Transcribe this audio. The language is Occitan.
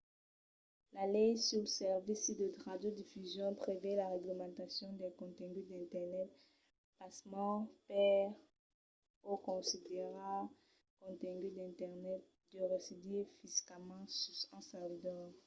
la lei suls servicis de radiodifusion prevei la reglamentacion del contengut d’internet pasmens per o considerar contengut d’internet deu residir fisicament sus un servidor